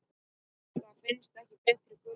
Það finnst ekki betri gulrót.